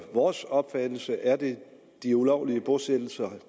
vores opfattelse er det de ulovlige bosættelser